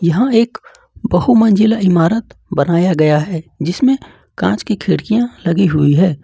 यहां एक बहु मंजिला इमारत बनाया गया है जिसमें कांच की खिड़कियां लगी हुई है।